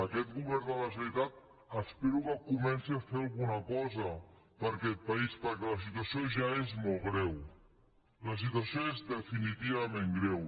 aquest govern de la generalitat espero que comenci a fer alguna cosa per a aquest país perquè la situació ja és molt greu la situació és definitivament greu